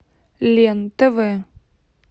лен тв